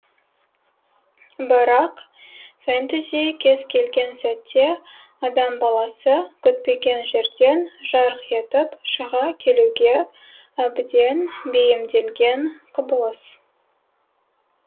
бірақ фэнтези кез келген сәтте адам баласы күтпеген жерден жарқ етіп шыға келуге әбден бейімделген құбылыс